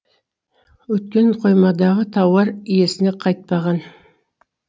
өйткені қоймадағы тауар иесіне қайтпаған